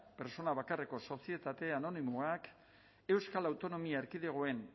pertsona bakarreko sozietate anonimoak euskal autonomia erkidegoan